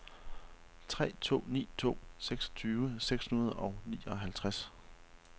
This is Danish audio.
tre to ni to seksogtyve seks hundrede og nioghalvtreds